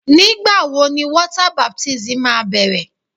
Whetẹnu wẹ baptẹm osin tọn na bẹjẹeji?